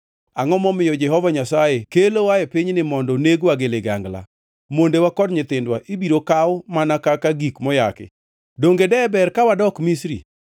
Angʼo momiyo Jehova Nyasaye kelowa e pinyni mondo negwa gi ligangla? Mondewa kod nyithindwa ibiro kaw mana kaka gik moyaki. Donge deber ka wadok Misri?”